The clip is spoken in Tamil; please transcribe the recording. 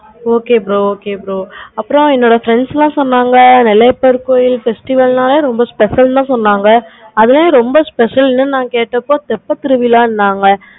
okay bro okay bro அப்பறம் என்னோட friends எல்லாம் சொன்னாங்க நெல்லையப்பர் கோவில் festival நாளே ரொம்ப special இன்னு சொன்னாங்க அதுலாம் ரொம்ப special நான் கேட்டப்ப தெப்ப திருவிழா சொன்னாங்க